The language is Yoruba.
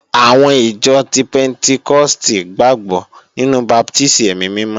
Àwọn ìjọ ti pẹ́ntíkọ́stì gbàgbọ́ nínú baptísì ẹ̀mí mímọ́